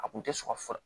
A kun tɛ sɔn fura ye